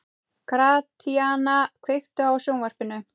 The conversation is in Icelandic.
Gratíana, kveiktu á sjónvarpinu.